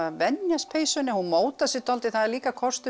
venjast peysunni hún mótar sig dálítið það er líka kostur